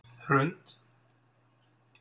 Hrund